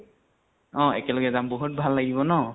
অ একেলগে যাম। বাহুত ভাল লাগিব ন।